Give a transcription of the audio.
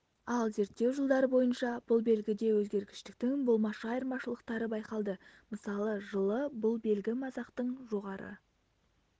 ал зерттеу жылдары бойынша бұл белгіде өзгергіштіктің болмашы айырмашылықтары байқалды мысалы жылы бұл белгі масақтың жоғары